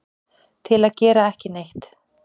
til að gera ekki neitt